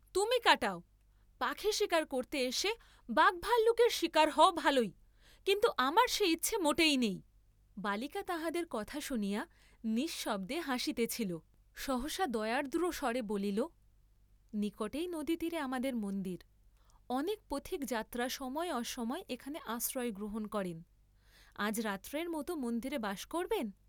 তুমি কাটাও, পাখী শীকার করতে এসে বাঘভাল্লুকের শীকার হও ভালই, কিন্তু আমার সে ইচ্ছা মোটেই নেই, বালিকা তাঁহাদের কথা শুনিয়া নিঃশব্দে হাসিতেছিল, সহসা দয়ার্দ্র স্বরে বলিল, নিকটেই নদীতীরে আমাদের মন্দির, অনেক পথিক যাত্রা সময়ে অসময়ে এখানে আশ্রয় গ্রহণ করেন, আজ রাত্রের মত মন্দিরে বাস করবেন?